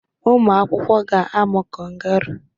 ụmụ akwụkwọ ga-amụ kangaroo